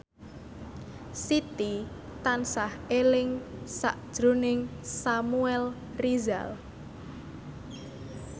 Siti tansah eling sakjroning Samuel Rizal